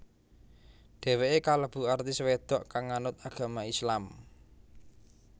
Dhéwéké kalebu artis wedok kang nganut agama Islam